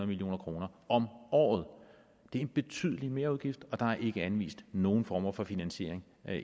million kroner om året det er en betydelig merudgift og der er ikke anvist nogen former for finansiering